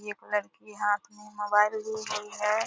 एक लड़की हाथ में मोबाइल लि हुई है। .